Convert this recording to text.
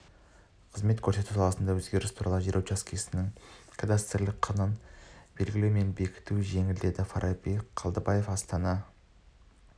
қызмет көрсету саласындағы өзгеріс туралы жер учаскесінің кадастрлық құнын белгілеу мен бекіту жеңілдеді фараби қалдыбиев астана